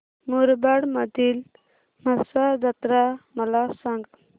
मुरबाड मधील म्हसा जत्रा मला सांग